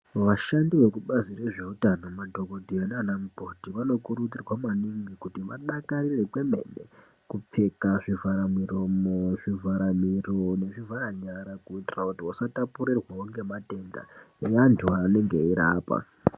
Vashandi vekubazi rezveutano madhokodheya nana mukoti vanokurudzirwa maningi kuti vadakarire kwemene kupfeka zvivhara muromo, zvivhara miro nezvivhara nyara kuitira kuti vasatapurirwawo ngematenda evanthu vavanenge veirapa.